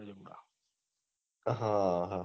હા હા